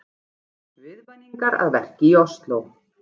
Viðvaningar að verki í Ósló